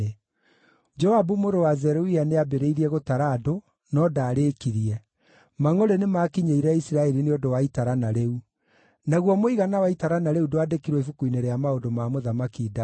Joabu mũrũ wa Zeruia nĩambĩrĩirie gũtara andũ, no ndaarĩkirie. Mangʼũrĩ nĩmakinyĩire Isiraeli nĩ ũndũ wa itarana rĩu. Naguo mũigana wa itarana rĩu ndwandĩkirwo ibuku-inĩ rĩa maũndũ ma Mũthamaki Daudi.